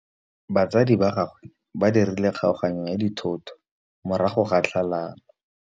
Batsadi ba gagwe ba dirile kgaoganyô ya dithoto morago ga tlhalanô.